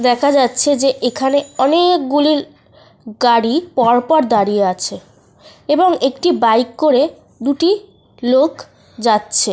দেখা যাচ্ছে যে এখানে অনেকগুলি গাড়ি পর পর দাঁড়িয়ে আছে। এবং একটি বাইক